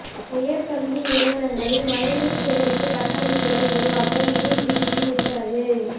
உயா் கல்வி நிறுவனங்களில் மழைநீா் சேகரிப்பு கட்டமைப்புகளை உருவாக்க யுஜிசி உத்தரவு